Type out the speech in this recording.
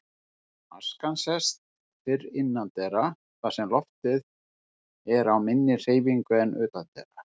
Askan sest fyrr innandyra þar sem loftið er á minni hreyfingu en utandyra.